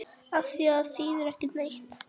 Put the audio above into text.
Afþvíað það þýðir ekki neitt.